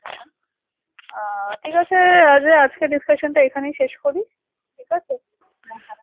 আহ ঠিক আছে আজকে discussion টা এখানেই শেষ করি ঠিক আছে